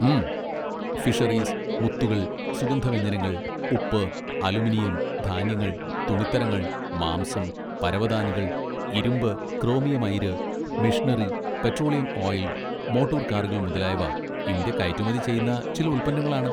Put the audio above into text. ഉം, ഫിഷറീസ്, മുത്തുകൾ, സുഗന്ധവ്യഞ്ജനങ്ങൾ, ഉപ്പ്, അലുമിനിയം, ധാന്യങ്ങൾ, തുണിത്തരങ്ങൾ, മാംസം, പരവതാനികൾ, ഇരുമ്പ്, ക്രോമിയം അയിര്, മെഷിനറി, പെട്രോളിയം ഓയിൽ, മോട്ടോർ കാറുകൾ മുതലായവ ഇന്ത്യ കയറ്റുമതി ചെയ്യുന്ന ചില ഉൽപ്പന്നങ്ങളാണ്.